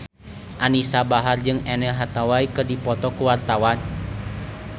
Anisa Bahar jeung Anne Hathaway keur dipoto ku wartawan